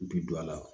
Bi don a la